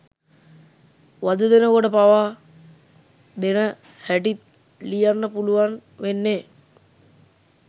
වද දෙනකොට පාවා දෙන හැටිත් ලියන්න පුළුවන් වෙන්නෙ